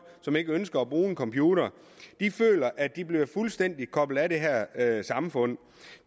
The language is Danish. som ikke ønsker at bruge en computer føler at de bliver fuldstændig koblet af det her samfund